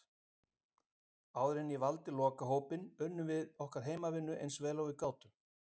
Áður en ég valdi lokahópinn, unnum við okkar heimavinnu eins vel og við gátum.